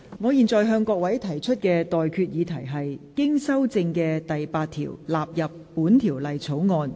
我現在向各位提出的待決議題是：經修正的附表納入本條例草案。